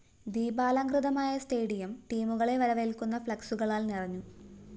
ദീപാലംകൃതമായ stadium ടീമുകളെ വരവേല്‍ക്കുന്ന ഫ്‌ളക്‌സുകളാല്‍ നിറഞ്ഞു